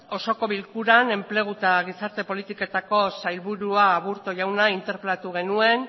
osoko bilkuran enplegu eta gizarte politiketako sailburua aburto jauna interpelatu genuen